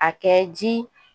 A kɛ ji